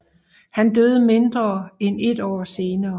Han døde mindre end et år senere